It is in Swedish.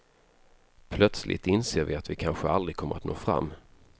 Plötsligt inser vi att vi kanske aldrig kommer att nå fram.